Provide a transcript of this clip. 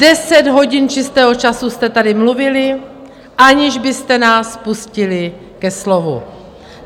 Deset hodin čistého času jste tady mluvili, aniž byste nás pustili ke slovu.